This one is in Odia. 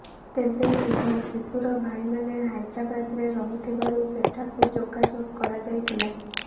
ତେବେ ଉଭୟ ଶିଶୁର ଭାଇମାନେ ହାଇଦ୍ରାବାଦରେ ରହୁଥିବାରୁ ସେଠାକୁ ଯୋଗାଯୋଗ କରାଯାଇଥିଲା